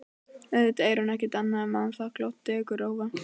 Auðvitað er hún ekkert annað en vanþakklát dekurrófa.